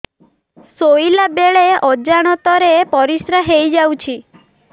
ଶୋଇଲା ବେଳେ ଅଜାଣତ ରେ ପରିସ୍ରା ହେଇଯାଉଛି